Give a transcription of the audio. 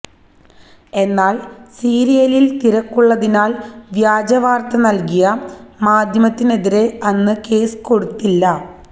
എന്നാല് സീരിലില് തിരക്കുള്ളതിനാല് വ്യാജവാര്ത്ത നല്കിയ മാധ്യമത്തിനെതിരെ അന്ന് കേസ് കൊടുത്തില്ല